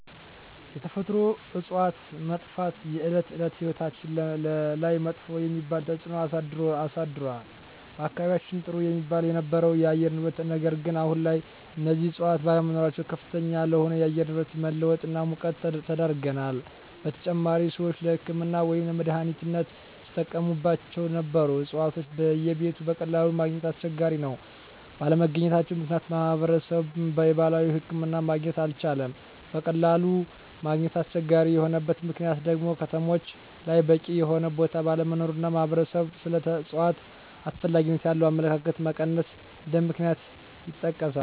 የተፈጥሮ እፅዋት መጥፍት የእለት እለት ህይወታችን ላይመጥፎ የሚባል ተፅእኖ አሳድሮል በአካባቢየችን ጥሩ የሚባል የነበረው የአየር ንብረት ነገር ግን አሁን ላይ እነዚህ እፅዋት ባለመኖራቸው ከፍተኛ ለሆነ የአየር ንብረት መለወጥ እና ሙቀት ተዳርገናል : በተጨማሪም ሰወች ለህክምና ወይም ለመድሐኒትነት ሲጠቀሞቸው ነበሩ እፅዋቶች በየቤቱ በቀላሉ ማገኘት አስቸጋሪ ነው ባለመገኘታቸው ምክንያት ማህበረሰብ የባህላዊ ሕክምና ማግኘት አልቻለም በቀላሉ ማግኘት አስቸጋሪ የሆነበት ምክንያት ደግሞ ከተሞች ላይ በቂ የሆነ ቦታ ባለመኖሩ እና ማህበረሰብ ስለ እፅዋት አስፈላጊነት ያለው አመለካከት መቀነስ እንደ ምክንያት ይጠቀሳሉ።